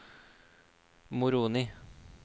Moroni